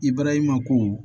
I barahima ko